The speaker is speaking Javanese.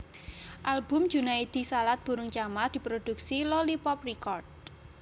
Album Junaedi Salat Burung Camar diproduksi Lolypop Record